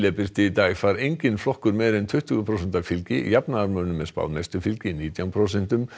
birti í dag fær enginn flokkur meira en tuttugu prósenta fylgi jafnaðarmönnum er spáð mestu fylgi nítján prósentum